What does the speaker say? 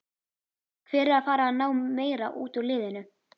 Hver er að fara að ná meira út úr liðinu?